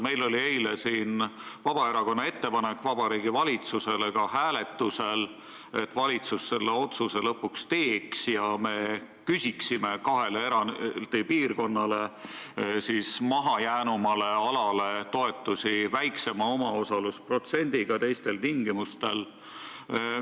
Meil oli eile siin hääletusel Vabaerakonna ettepanek Vabariigi Valitsusele, et valitsus selle otsuse lõpuks teeks ja me küsiksime mahajäänumale alale toetusi väiksema omaosalusprotsendiga, teistel tingimustel.